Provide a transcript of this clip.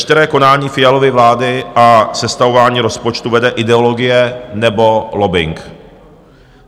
Veškeré konání Fialovy vlády a sestavování rozpočtu vede ideologie nebo lobbing.